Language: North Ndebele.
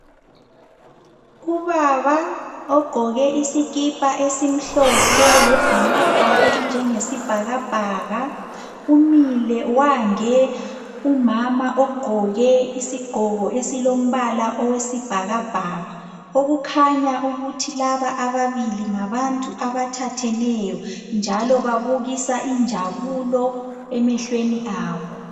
Ubaba ogqoke isikipa esimhlophe elebhulugwe elinjengesibhakabhaka umile wange umama ogqoke isigqoko esilombala okwesibhakabhaka, okukhanya ukuthi laba ababili ngabantu abathatheneyo njalo babukisa injabulo emehlweni abo.